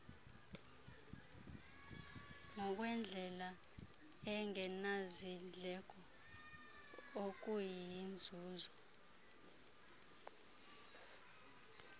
ngokwendlela engenazindleko okuyinzuzo